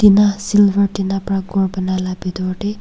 tina silver tina pra ghor banai la bitor de--